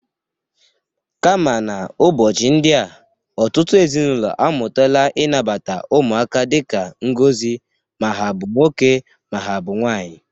Kama n'ụbọchị ndị a, ọtụtụ ezinaụlọ amụtala ịnabata ụmụaka dịka ngozi ma ha bụ nwoke, ma ha bụ nwanyị.